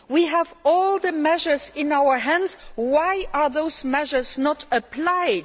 We have all the measures in our hands. Why are those measures not